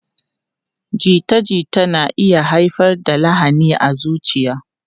Jita-jita na iya haifar da lahani a zuciya.